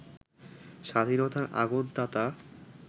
স্বাধীনতার আগুন-তাতা